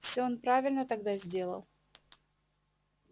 всё он правильно тогда сделал